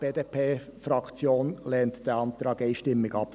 Die BDP-Fraktion lehnt diesen Antrag einstimmig ab.